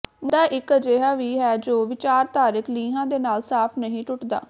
ਮੁੱਦਾ ਇਕ ਅਜਿਹਾ ਵੀ ਹੈ ਜੋ ਵਿਚਾਰਧਾਰਕ ਲੀਹਾਂ ਦੇ ਨਾਲ ਸਾਫ ਨਹੀਂ ਟੁੱਟਦਾ